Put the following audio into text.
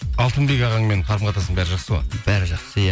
алтынбек ағаңмен қарым қатынасың бәрі жақсы ғой бәрі жақсы иә